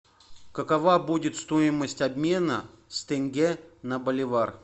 какова будет стоимость обмена с тенге на боливар